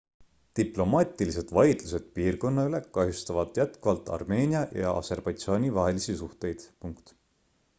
diplomaatilised vaidlused piirkonna üle kahjustavad jätkuvalt armeenia ja aserbaidžaani vahelisi suhteid